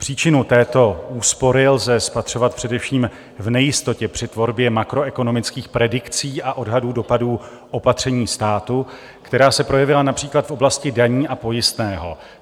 Příčinu této úspory lze spatřovat především v nejistotě při tvorbě makroekonomických predikcí a odhadů dopadů opatření státu, která se projevila například v oblasti daní a pojistného.